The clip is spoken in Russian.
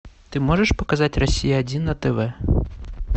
ты можешь показать россия один на тв